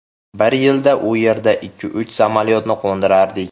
Bir yilda u yerda ikki-uch samolyotni qo‘ndirardik.